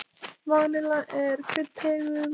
Vanilla er kryddtegund.